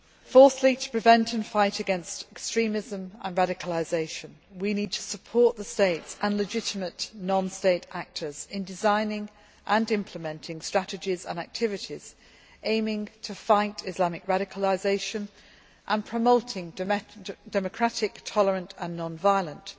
Fourthly, in order to prevent and fight against extremism and radicalisation, we need to support states and legitimate non state actors in designing and implementing strategies and activities, with the aim of fighting Islamic radicalisation and promoting democratic, tolerant and non violent